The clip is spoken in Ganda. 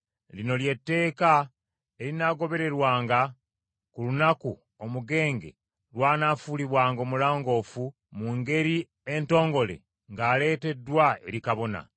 “Lino lye tteeka erinaagobererwanga ku lunaku omugenge lw’anaafuulibwanga omulongoofu mu ngeri entongole ng’aleeteddwa eri kabona.